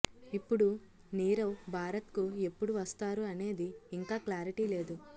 ఇప్పుడు నీరవ్ భారత్ కు ఎప్పుడు వస్తారు అనేది ఇంకా క్లారిటీ లేదు